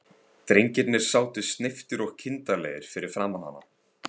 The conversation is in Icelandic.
Drengirnir sátu sneyptir og kindarlegir fyrir framan hana.